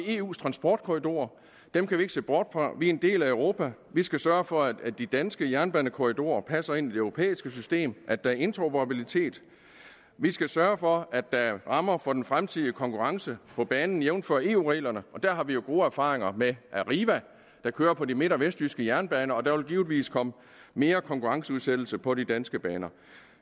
eus transportkorridorer og dem kan vi ikke se bort fra vi er en del af europa vi skal sørge for at de danske jernbanekorridorer passer ind i det europæiske system at der er interoperabilitet vi skal sørge for at der er rammer for den fremtidige konkurrence på banen jævnfør eu reglerne der har vi jo gode erfaringer med arriva der kører på de midt og vestjyske jernbaner og der vil givetvis komme mere konkurrenceudsættelse på de danske baner